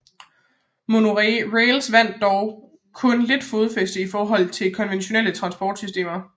Monorails vandt dog kun lidt fodfæste i forhold til konventionelle transportsystemer